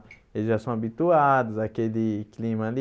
Eles já são habituados àquele clima ali.